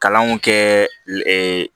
Kalanw kɛ lɛ